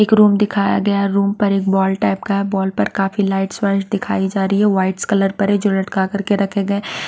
एक रूम दिखाया गया है रूम पर एक बॉल टाइप का है बॉल पर काफी लाइट्स वाइस दिखाई जा रही है वाइट कलर पर है जो लटका कर के रखे गए है ।